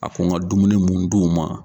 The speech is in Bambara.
A ko n ka dumuni mun d'o ma.